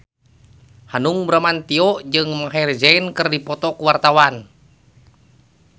Hanung Bramantyo jeung Maher Zein keur dipoto ku wartawan